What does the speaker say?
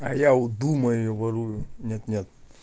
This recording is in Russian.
а я удумаю и ворую нет нет